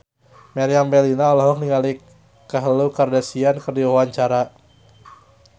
Meriam Bellina olohok ningali Khloe Kardashian keur diwawancara